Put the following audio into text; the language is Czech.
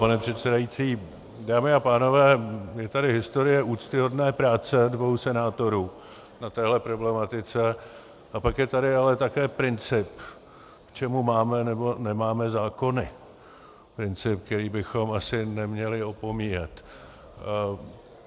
Pane předsedající, dámy a pánové, je tady historie úctyhodné práce dvou senátorů na téhle problematice, a pak je tady ale také princip, k čemu máme nebo nemáme zákony, princip, který bychom asi neměli opomíjet.